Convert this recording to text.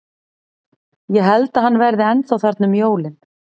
Ég held að hann verði ennþá þarna um jólin.